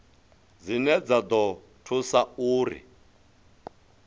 dzine dza ḓo thusa uri